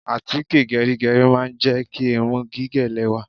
Àtíkè gẹrígẹrí a máa jẹ́ kí irun gígẹ̀ lẹ́wà.